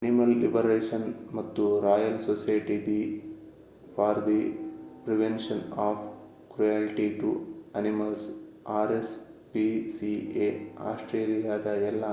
animal Liberation ಮತ್ತು Royal Society for the Prevention of Cruelty to Animals rspca ಆಸ್ಟ್ರೇಲಿಯಾದ ಎಲ್ಲಾ